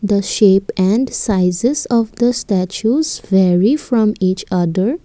the shape and sizes of the statues vary from each other.